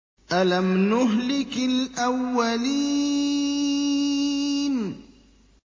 أَلَمْ نُهْلِكِ الْأَوَّلِينَ